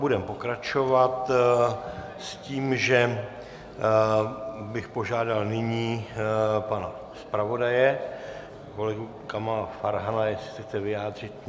Budeme pokračovat, s tím, že bych požádal nyní pana zpravodaje, kolegu Kamala Farhana, jestli se chce vyjádřit.